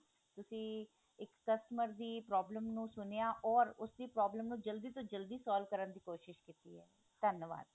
ਤੁਸੀਂ ਇੱਕ customer ਦੀ problem ਨੂੰ ਸੁਣਿਆ or ਉਸਦੀ problem ਨੂੰ ਜਲਦੀ ਤੋਂ ਜਲਦੀ solve ਕਰਨ ਦੀ ਕੋਸਿਸ਼ ਕੀਤੀ ਹੈ ਧੰਨਵਾਦ